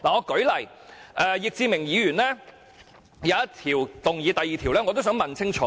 舉例而言，就易志明議員的議案第二點，我亦希望他澄清。